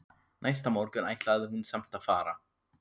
Næsta morgun ætlaði hún samt að fara.